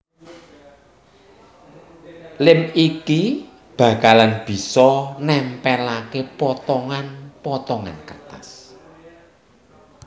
Lem iki bakalan bisa nempelake potongan potongan kertas